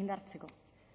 indartzeko